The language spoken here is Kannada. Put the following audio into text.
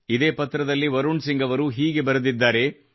ಇದೇ ಪತ್ರದಲ್ಲಿ ವರುಣ್ ಸಿಂಗ್ ಅವರು ಹೀಗೆ ಬರೆದಿದ್ದಾರೆ